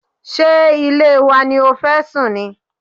Ṣé ilé wa ni o fẹ́ sùn ni?